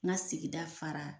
N ka sigida fara